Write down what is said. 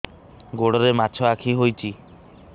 ଗୋଡ଼ରେ ମାଛଆଖି ହୋଇଛି